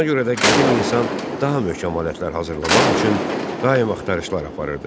Buna görə də qədim insan daha möhkəm alətlər hazırlamaq üçün daim axtarışlar aparırdı.